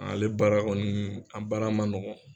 Anle baara kɔni an baara man nɔgɔ.